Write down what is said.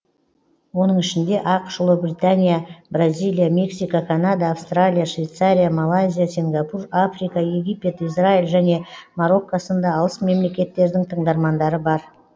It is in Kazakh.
оның ішінде ақш ұлыбритания бразилия мексика канада австралия швейцария малайзия сингапур африка египет израиль және марокко сынды алыс мемлекеттердің тыңдармандары бар